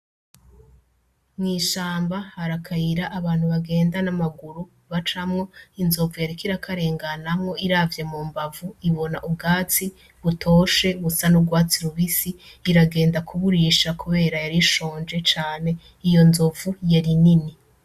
Mwishamba hari akayira abantu bagenda n'amaguru bacamwo inzovu yariko irakarenganamwo iravye mu mbavu ibona ubwatsi butoshe busa n'urwatsi rubisi iragenda kuburisha, kubera yarishonje cane iyo nzovu yari nini.